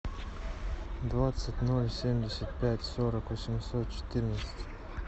двадцать ноль семьдесят пять сорок восемьсот четырнадцать